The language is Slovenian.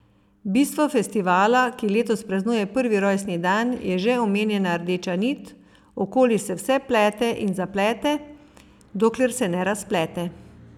Bistvo festivala, ki letos praznuje prvi rojstni dan je že omenjena rdeča nit, okoli se vse plete in zaplete, dokler se ne razplete.